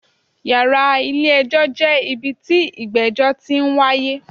Yàrá ilé ẹjọ́ jẹ́ ibi tí ìgbẹ́jọ́ ti n wáyé.